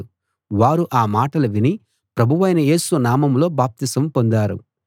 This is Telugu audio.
వారు ఆ మాటలు విని ప్రభువైన యేసు నామంలో బాప్తిసం పొందారు